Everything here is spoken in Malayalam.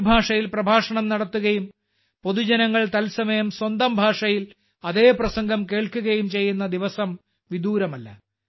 ഒരു ഭാഷയിൽ പ്രഭാഷണം നടത്തുകയും പൊതുജനങ്ങൾ തത്സമയം സ്വന്തം ഭാഷയിൽ അതേ പ്രസംഗം കേൾക്കുകയും ചെയ്യുന്ന ദിവസം വിദൂരമല്ല